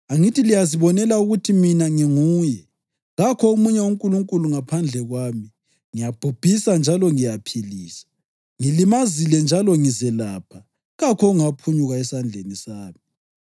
Angithi liyazibonela ukuthi Mina ngiNguye! Kakho omunye unkulunkulu ngaphandle kwami. Ngiyabhubhisa njalo ngiyaphilisa. Ngilimazile njalo ngizelapha, kakho ongaphunyuka esandleni sami.